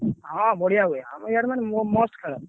ହଁ ବଢିଆ ହୁଏ ଆମର ଇଆଡେ ମାନେ ମସ୍ତ ଖେଳ।